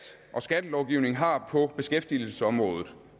og skattelovgivning har på beskæftigelsesområdet